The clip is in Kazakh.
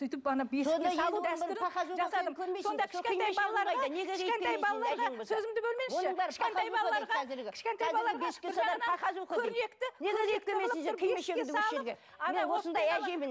сөйтіп ана сөзімді бөлмеңізші